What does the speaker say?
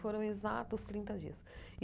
Foram exatos trinta dias.